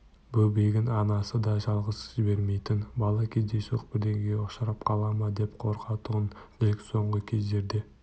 бөбегін анасы да жалғыз жібермейтін бала кездейсоқ бірдеңеге ұшырап қала ма деп қорқатұғын джек соңғы кездерде